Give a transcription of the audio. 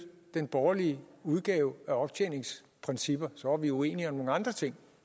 den borgerlige udgave af optjeningsprincipper så var vi uenige om nogle andre ting